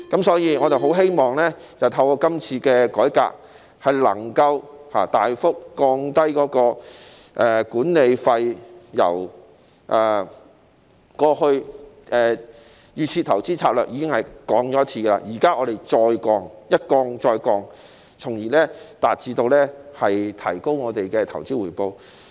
所以，我很希望透過今次的改革，能夠大幅降低管理費，雖然在推出預設投資策略後已經降低，但我們現在要求再次降低，一降再降，從而提高投資回報。